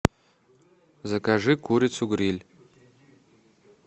закажи курицу гриль